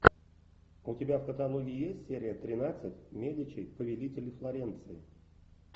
у тебя в каталоге есть серия тринадцать медичи повелители флоренции